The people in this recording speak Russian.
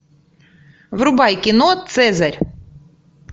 врубай кино цезарь